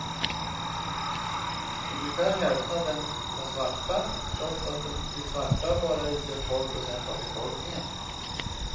Ungefär hälften av dem var svarta, trots att de svarta bara utgör tolv procent av befolkningen.